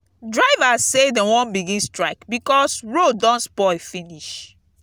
drivers say dey wan begin strike because road don spoil finish.